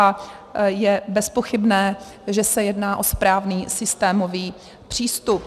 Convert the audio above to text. A je bezpochybné, že se jedná o správný systémový přístup.